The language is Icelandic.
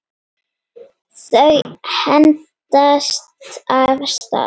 Þau hendast af stað.